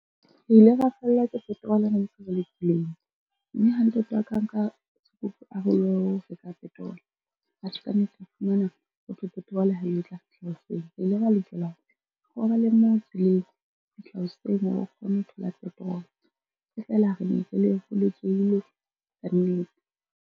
Re ile ra fellwa ke petrol ntse re le tseleng, mme ha ntate wa ka a nka sekupu a re o lo reka petrol, atjhe ka nnete a fumana hothwe petrol ha eyo e tla fihla hoseng. Re ile ra lokela re robale moo tseleng ho fihla hoseng hore re kgone ho thola petrol, e fela re ne re kannete.